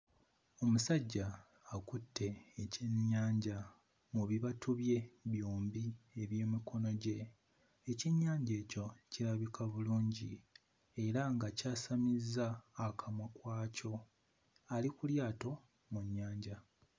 Omusajja akutte ekyennyanja mu bibatu bye byombi eby'emikono gye. Ekyennyanja ekyo kirabika bulungi era nga kyasamizza akamwa kwakyo ali ku lyato mu nnyanja.